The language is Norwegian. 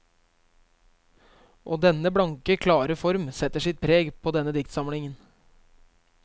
Og denne blanke, klare form setter sitt preg på denne diktsamlingen.